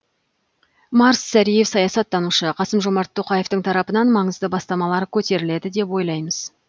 марс сәриев саясаттанушы қасым жомар тоқаевтың тарапынан маңызды бастамалар көтеріледі деп ойлаймыз